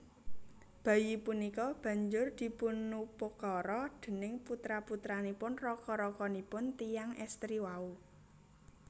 Bayi punika banjur dipunupakara déning putra putranipun raka rakanipun tiyang èstri wau